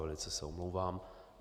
Velice se omlouvám.